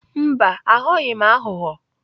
Mba, aghọghị m aghụghọ.